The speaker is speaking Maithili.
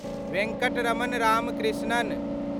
वेंकटरमण रामकृष्णन